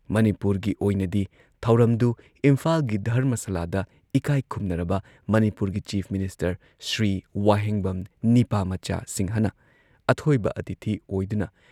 ꯃꯅꯤꯄꯨꯔꯒꯤ ꯑꯣꯏꯅꯗꯤ ꯊꯧꯔꯝꯗꯨ ꯏꯝꯐꯥꯜꯒꯤ ꯙꯔꯃꯁꯂꯥꯗ ꯏꯀꯥꯏꯈꯨꯝꯅꯔꯕ ꯃꯅꯤꯄꯨꯔꯒꯤ ꯆꯤꯐ ꯃꯤꯅꯤꯁꯇꯔ ꯁ꯭ꯔꯤ ꯋꯥꯍꯦꯡꯕꯝ ꯅꯤꯄꯥꯃꯆꯥ ꯁꯤꯡꯍꯅ ꯑꯊꯣꯏꯕ ꯑꯇꯤꯊꯤ ꯑꯣꯏꯗꯨꯅ